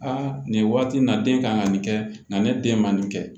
Aa nin waati in na den kan ka nin kɛ nka ne den ma nin kɛ